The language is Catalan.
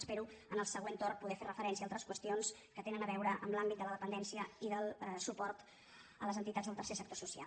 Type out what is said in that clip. espero en el següent torn poder fer referència a altres qüestions que tenen a veure amb l’àmbit de la depen·dència i del suport a les entitats del tercer sector so·cial